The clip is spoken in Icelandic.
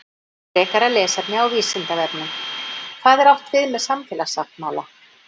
Frekara lesefni á Vísindavefnum: Hvað er átt við með samfélagssáttmála?